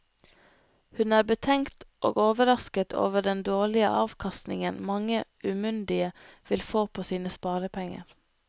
Hun er betenkt og overrasket over den dårlige avkastningen mange umyndige vil få på sine sparepenger.